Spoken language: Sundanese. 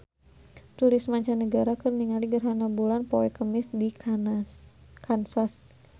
Turis mancanagara keur ningali gerhana bulan poe Kemis di Kansas